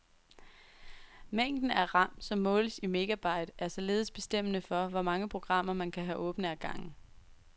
Mængden er ram, som måles i megabyte, er således bestemmende for, hvor mange programmer man kan have åbne ad gangen.